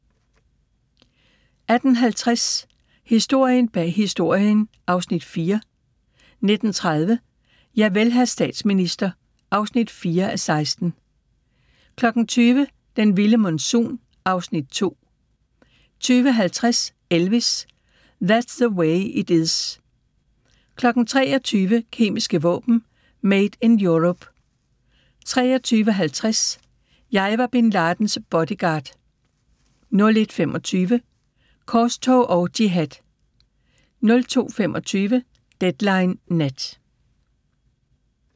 18:50: Historien bag Historien (Afs. 4) 19:30: Javel, hr. statsminister (4:16) 20:00: Den vilde monsun (Afs. 2) 20:50: Elvis – That's the Way It Is 23:00: Kemiske våben: Made in Europe 23:50: Jeg var Bin Ladens bodyguard 01:25: Korstog og jihad 02:25: Deadline Nat